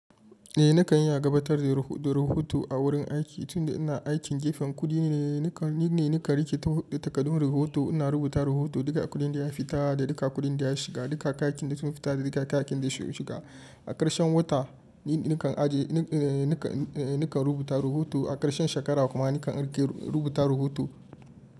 Eh nakan iya gabatar da, da rahoto a wurin aiki, tunda ina aikin gefen kuɗi ne, nakan, ni ne nakan rike takaddun rahoto. Ina rubuta rahoto, duka kuɗin da ya fita da duka kuɗin da ya shiga, duka kakakin da sun fita da duka kakakin da su shiga. A karshen wata ni, nakan aje, ee nakan, ee nakan rubuta rahoto. A karshen shekara kuma nakan rike rubuta rahoto.